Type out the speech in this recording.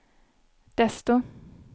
desto